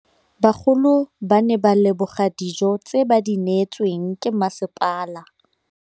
Bagolo ba ne ba leboga dijô tse ba do neêtswe ke masepala.